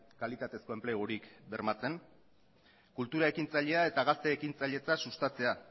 kalitatezko enplegurik bermatzen kultura ekintzailea eta gazte ekintzailetza sustatzea